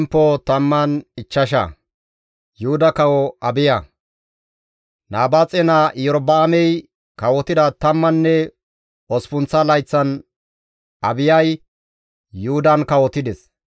Nabaaxe naa Iyorba7aamey kawotida tammanne osppunththa layththan Abiyay Yuhudan kawotides.